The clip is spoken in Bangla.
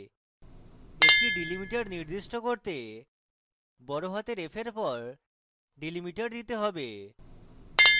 একটি delimiter নির্দিষ্ট করতে বড়হাতের f এর পর delimiter দিতে have